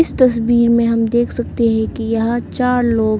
तस्वीर में हम देख सकते है कि यह चार लोग--